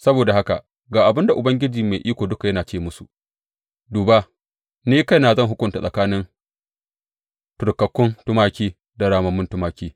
Saboda haka ga abin da Ubangiji Mai Iko Duka ya ce musu, duba, ni kaina zan hukunta tsakanin turkakkun tumaki da ramammun tumaki.